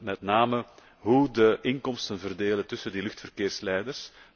Met name hoe gaat men de inkomsten verdelen tussen die luchtverkeersleiders?